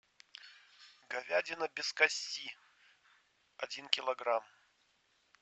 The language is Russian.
говядина без кости один килограмм